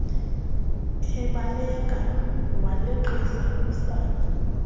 ebaleka waleqisa kwisango